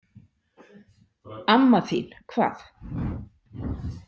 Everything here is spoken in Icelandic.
Amma þín, hvað?